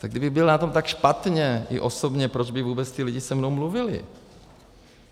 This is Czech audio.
Tak kdybych byl na tom tak špatně i osobně, proč by vůbec ti lidé se mnou mluvili?